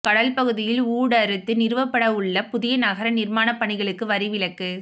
கடல் பகுதியில் ஊடறுத்து நிறுவப்படவுள்ள புதிய நகர நிர்மாண பணிகளுக்கு வரி விலக்கு